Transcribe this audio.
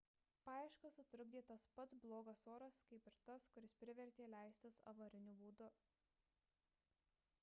paieškas sutrukdė tas pats blogas oras kaip ir tas kuris privertė leistis avariniu būdu